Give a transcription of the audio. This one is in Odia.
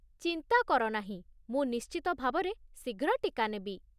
ଚିନ୍ତା କର ନାହିଁ, ମୁଁ ନିଶ୍ଚିତ ଭାବରେ ଶୀଘ୍ର ଟୀକା ନେବି।